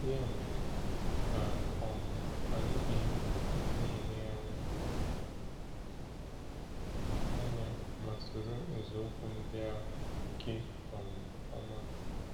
Ya mere, ka um anyị gee ntị n’elegharị anya ma soro nzọụkwụ ndị ahụ nke um ọma.